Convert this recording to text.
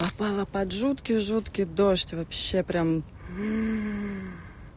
попала под жуткий жуткий дождь вообще прям